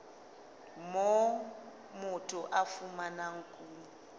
moo motho a fumanang kuno